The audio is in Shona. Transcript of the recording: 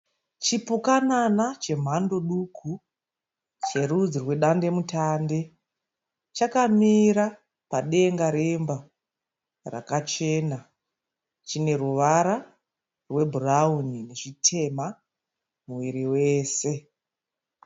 Chipukanana chemhando duku cherudzi rwedandemutande chakamira padenga remba rakachena. Chine ruvara rwebhurauni nechitema muviri wese.